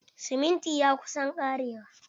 Siminti ya kusa ƙarewa.